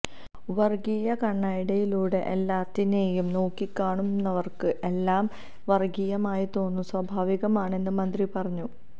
വർഗീയക്കണ്ണടയിലൂടെ എല്ലാറ്റിനെയും നോക്കിക്കാണുന്നവർക്ക് എല്ലാം വർഗീയമായി തോന്നുക സ്വാഭാവികമാണെന്ന് മന്ത്രി പറഞ്ഞു